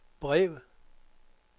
brev